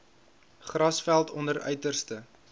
grasveld onder uiterste